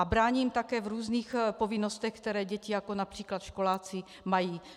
A brání jim také v různých povinnostech, které děti jako například školáci mají.